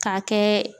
K'a kɛ